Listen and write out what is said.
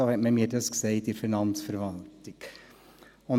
So hat man es mir bei der Finanzverwaltung gesagt.